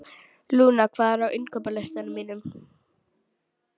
Luna, hvað er á innkaupalistanum mínum?